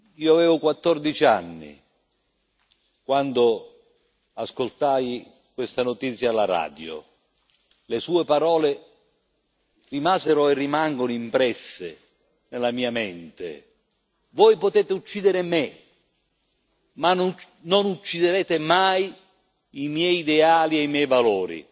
Io avevo 14 anni quando ascoltai questa notizia alla radio. Le sue parole rimasero e rimangono impresse nella mia mente Voi potete uccidere me ma non ucciderete mai i miei ideali e i miei valori.